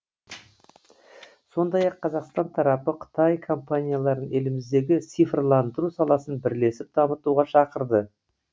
сондай ақ қазақстан тарапы қытай компанияларын еліміздегі цифрландыру саласын бірлесіп дамытуға шақырды